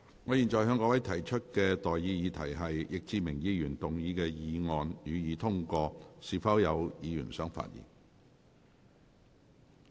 我現在向各位提出的待決議題是：易志明議員動議的議案，予以通過。